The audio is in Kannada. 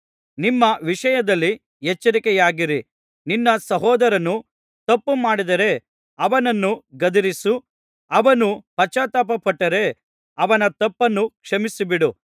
ನಿಮ್ಮ ವಿಷಯದಲ್ಲಿ ಎಚ್ಚರಿಕೆಯಾಗಿರಿ ನಿನ್ನ ಸಹೋದರನು ತಪ್ಪುಮಾಡಿದರೆ ಅವನನ್ನು ಗದರಿಸು ಅವನು ಪಶ್ಚಾತ್ತಾಪಪಟ್ಟರೆ ಅವನ ತಪ್ಪನ್ನು ಕ್ಷಮಿಸಿಬಿಡು